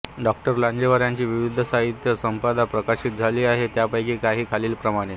डॉ लांजेवार यांची विविध साहित्य संपदा प्रकाशित झाली आहे त्यापैकी काही खालीलप्रमाणे